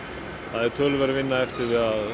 það er töluverð vinna eftir